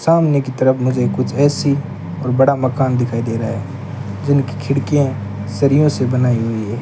सामने की तरफ मुझे कुछ ए_सी और बड़ा मकान दिखाई दे रहा है जिनकी खिड़कियां सरियों से बनाई हुई है।